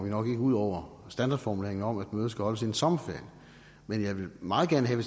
ud over standardformuleringen om at mødet skal holdes inden sommerferien men jeg vil meget gerne have